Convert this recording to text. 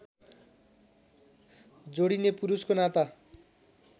जोडिने पुरुषको नाता